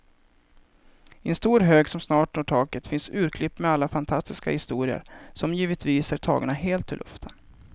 I en stor hög som snart når taket finns urklipp med alla fantastiska historier, som givetvis är tagna helt ur luften.